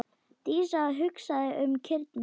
Dísa hugsaði um kýrnar.